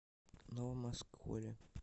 новом осколе